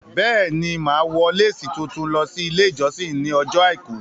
Bẹ́è ni, Màá wọ lésì tuntun lọ sí ilé ìjọsìn ní ọjọ́ àìkú